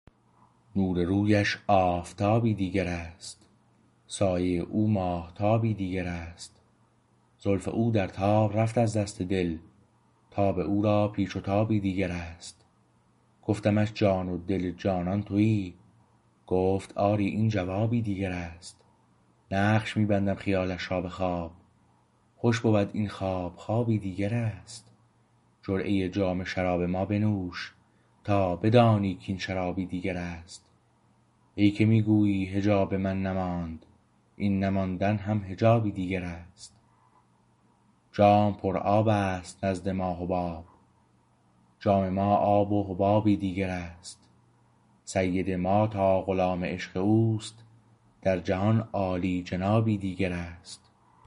نور رویش آفتابی دیگر است سایه او ماهتابی دیگر است زلف او درتاب رفت از دست دل تاب او را پیچ و تابی دیگر است گفتمش جان و دل جانان تویی گفت آری این جوابی دیگر است نقش می بندم خیالش را به خواب خوش بود این خواب خوابی دیگر است جرعه جام شراب ما بنوش تا بدانی کاین شرابی دیگر است ای که می گویی حجاب من نماند این نماندن هم حجابی دیگر است جام پر آبست نزد ما حباب جام ما آب و حبابی دیگر است سید ما تا غلام عشق اوست در جهان عالیجنابی دیگر است